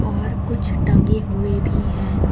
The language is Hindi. और कुछ टंगे हुए भी हैं।